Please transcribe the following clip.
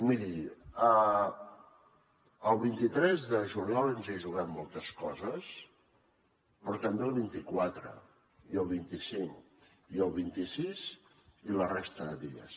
miri el vint tres de juliol ens hi juguem moltes coses però també el vint quatre i el vint cinc i el vint sis i la resta de dies